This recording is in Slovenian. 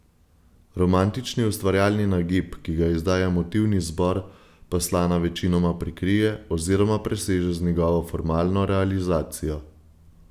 Romantični ustvarjalni nagib, ki ga izdaja motivni izbor, pa Slana večinoma prikrije oziroma preseže z njegovo formalno realizacijo.